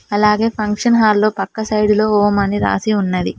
అలాగే function hall లో పక్క సైడ్ లో ఓం అని రాసి ఉన్నది.